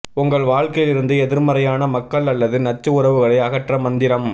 உங்கள் வாழ்க்கையிலிருந்து எதிர்மறையான மக்கள் அல்லது நச்சு உறவுகளை அகற்ற மந்திரம்